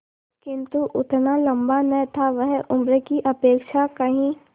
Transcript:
किंतु उतना लंबा न था वह उम्र की अपेक्षा कहीं